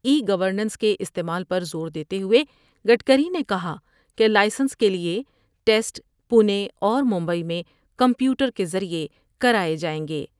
ای governance کے استعمال پر زور دیتے ہوۓ گڈکری نے کہا کہ لائسنس کے لئے ٹسٹ پونے اور ممبئی میں کمپیوٹر کے ذریعے کراۓ جاۓ گے ۔